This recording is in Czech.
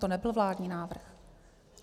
To nebyl vládní návrh.